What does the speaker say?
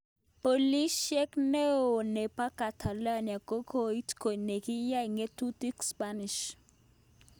Polishek ne o nepo Catalonia kokoit kot nekiyae ngetutik spanish